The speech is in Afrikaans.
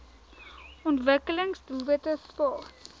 ontwikkelings doelwitte spas